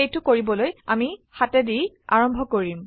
সেইটো কৰিবলৈ আমি 7 দি আৰম্ভ কৰিম